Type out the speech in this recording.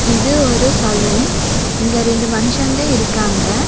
இது ஒரு சலூன் இங்க ரெண்டு மனுசங்க இருக்காங்க.